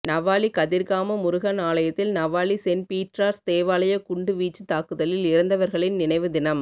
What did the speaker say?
நவாலி கதிர்காம முருகன் ஆலயத்தில் Navali saint Peter's தேவாலய குண்டு வீச்சு தாக்குதலில் இறந்தவர்களின் நினைவு தினம்